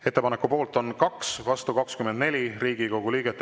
Ettepaneku poolt on 2, vastu 24 Riigikogu liiget.